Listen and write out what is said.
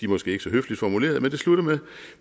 måske ikke så høfligt formuleret men det slutter med